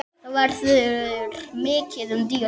Þá verður mikið um dýrðir